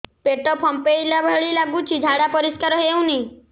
ପେଟ ଫମ୍ପେଇଲା ଭଳି ଲାଗୁଛି ଝାଡା ପରିସ୍କାର ହେଉନି